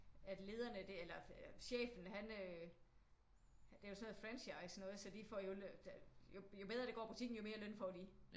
At lederne der eller chefen han øh det er jo sådan noget franchise noget så de får jo jo bedre det går butikken jo mere løn får de